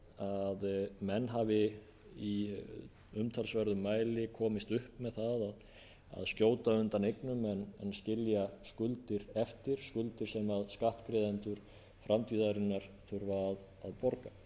að menn hafi í umtalsverðum mæli komist upp með það að skjóta undan eignum en skilja skuldir eftir skuldir sem skattgreiðendur framtíðarinnar þurfi að